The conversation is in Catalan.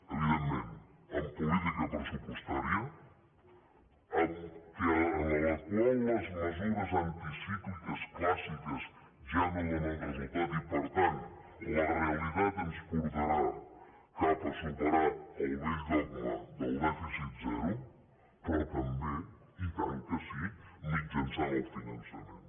evidentment en política pressupostària en la qual les mesures anticícliques clàssiques ja no donen resultat i per tant la realitat ens portarà cap a superar el vell dogma del dèficit zero però també i tant que sí mitjançant el finançament